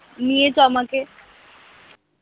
নিয়ে চল আমাকে।